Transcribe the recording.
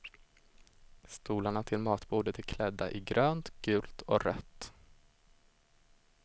Stolarna till matbordet är klädda i grönt, gult och rött.